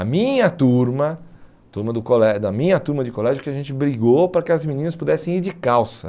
A minha turma, turma do colé da minha turma de colégio, que a gente brigou para que as meninas pudessem ir de calça.